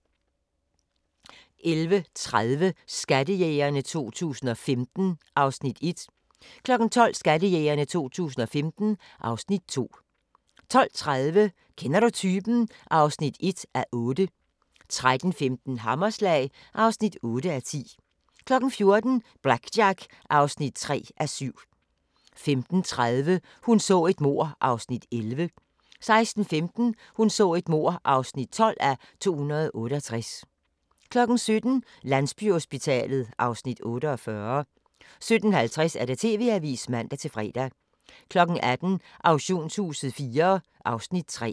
11:30: Skattejægerne 2015 (Afs. 1) 12:00: Skattejægerne 2015 (Afs. 2) 12:30: Kender du typen? (1:8) 13:15: Hammerslag (8:10) 14:00: BlackJack (3:7) 15:30: Hun så et mord (11:268) 16:15: Hun så et mord (12:268) 17:00: Landsbyhospitalet (Afs. 48) 17:50: TV-avisen (man-fre) 18:00: Auktionshuset IV (Afs. 3)